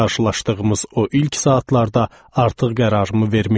Qarşılaşdığımız o ilk saatlarda artıq qərarımı vermişdim.